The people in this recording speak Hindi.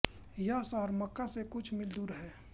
यह शहर मक्का से कुछ मील दूर है